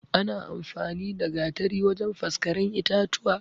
Ana amfani da Gatari wajan faskaren itatuwa